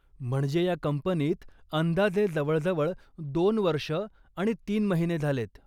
म्हणजे ह्या कंपनीत अंदाजे जवळजवळ दोन वर्षं आणि तीन महिने झालेत?